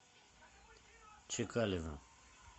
чекалина